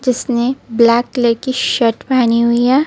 जिसने black colour की shirt पहनी हुई है.